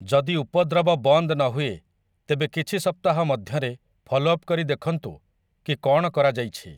ଯଦି ଉପଦ୍ରବ ବନ୍ଦ ନହୁଏ, ତେବେ କିଛି ସପ୍ତାହ ମଧ୍ୟରେ ଫଲୋ ଅପ୍‌ କରି ଦେଖନ୍ତୁ କି କ'ଣ କରାଯାଇଛି ।